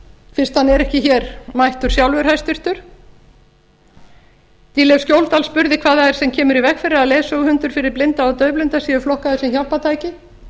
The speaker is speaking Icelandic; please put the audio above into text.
fyrst hann er ekki hér mættur sjálfur hæstvirtur dýrleif skjóldal spurði hvað það er sem kemur í veg fyrir að leiðsöguhundar fyrir blinda og daufblinda séu flokkaðir sem hjálpartæki